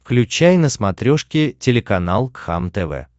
включай на смотрешке телеканал кхлм тв